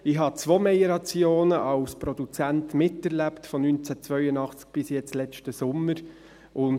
Ich habe von 1982 bis jetzt letzten Sommer zwei Meliorationen als Produzent miterlebt.